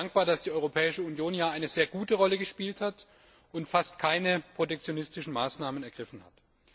Ich bin auch sehr dankbar, dass die Europäische Union hier eine sehr gute Rolle gespielt und fast keine protektionistischen Maßnahmen ergriffen hat.